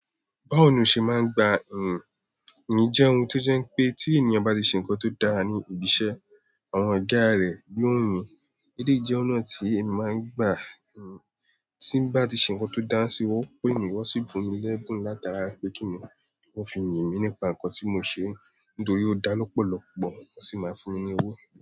Báwo ni o ṣe máa ń gba ìyìn? Ìyìn jẹ́ ohun tó jẹ́ pé tí ènìyàn bá ṣe nǹkan tó dára ní ibi iṣẹ́ àwọn Oga rẹ̀ yóò yin, éléyì jẹ́ ọ̀nà tí emi màá ń gba ìyìn. Tí bá ti ṣe ǹkan tó dára sí wọ́n ó pé mi wón ò sì fún mi lẹ́bùn látara pé kí wọ́n fi ìyìn mí nípa ǹkan tí mo ṣe nítorí ó dá lọ́pọ̀lọpọ̀ wọ́n sì máa fún mi ní owó.